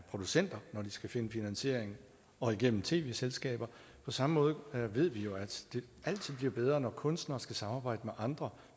producenter når de skal finde finansiering og igennem tv selskaber og på samme måde ved vi jo at det altid bliver bedre når kunstnere skal samarbejde med andre